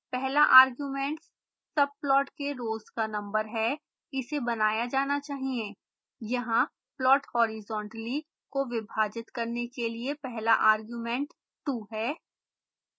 पहला arguments subplots के रोज़ का नंबर है इसे बनाया जाना चाहिए यहाँ plot horizontally को विभाजित करने के लिए पहला argument 2 है